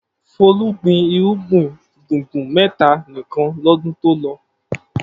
Folú gbin irúgbìn gbùngbùn mẹ́ta nìkan lọ́dún tó lọ.